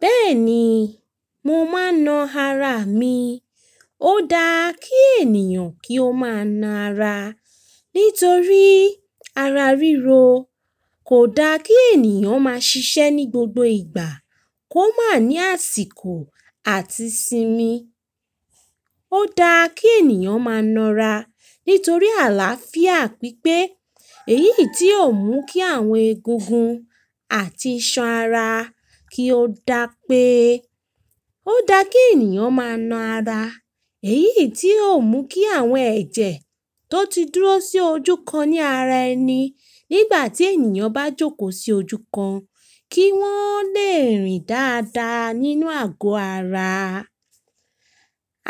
Bẹ́ẹ̀ni, mo máa ń na ara mi. Ó daa kí ènìyàn kí ó máa na ara nítorí ara ríro. Kò daa kí ènìyàn máa ṣiṣẹ́ ní gbogbo ìgbà, kó má ní àsìkò àti sinmi. Ó daa kí ènìyàn máa nara nítorí àlàáfíà pípé. Èyì í ti ó mú kí àwọn egungun àti iṣan ara kí ó da pé ó daa kí ènìyàn máa na ara. Èyí í ti ó mú kí àwọn ẹ̀jẹ̀ tó ti dúró sí ojú kan ní ara ẹni nígbà tí ènìyàn bá jókòó sí ojú kan, kí wọ́n le rìn dáadáa nínú àgò ara.